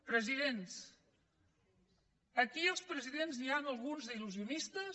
president aquí de presidents n’hi ha alguns d’il·lu sionistes